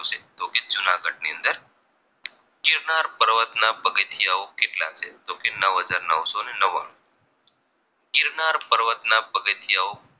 પર્વત ના પગથીયાઓ કેટલા છે તો કે નવ હજાર નવસો ને નવાણું ગિરનાર પર્વત ના પગથીયાઓ